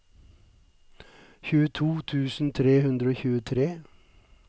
tjueto tusen tre hundre og tjuetre